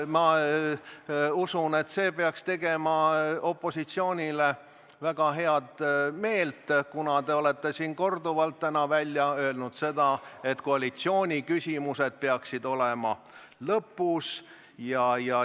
Ma usun, et see peaks tegema opositsioonile väga head meelt, kuna te olete siin täna korduvalt välja öelnud, et koalitsiooni küsimused peaksid olema lõpus.